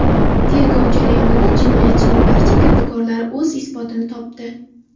Tergov jarayonida jinoyatchining barcha kirdikorlari o‘z isbotini topdi.